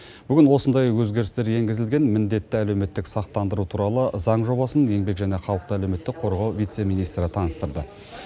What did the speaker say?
бүгін осындай өзгерістер енгізілген міндетті әлеуметтік сақтандыру туралы заң жобасын еңбек және халықты әлеуметтік қорғау вице министрі таныстырды